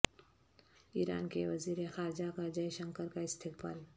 ایران کے وزیر خارجہ کا جے شنکر کا استقبال